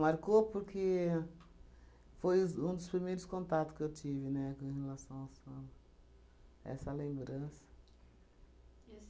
Marcou, porque foi os um dos primeiros contatos que eu tive, né, com relação ao samba. Essa lembrança. E a